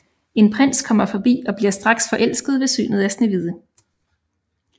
En prins kommer forbi og bliver straks forelsket ved synet af Snehvide